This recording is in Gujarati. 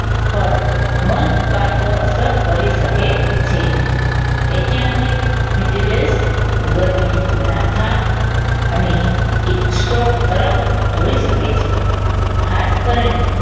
પર નોંધપાત્ર અસર કરી શકે છે. ઐત્યંતિક heat waves ગરમીના થાક અને એક સ્ટોક પરત ધોઈ શકે છે ખાસ કરીને